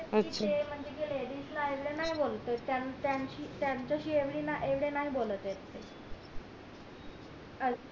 म्हणजे जे म्हणजे जे ledies आई ला नाय बोलते त्याच्या त्याच्याशी एवढे नाही बोलते ते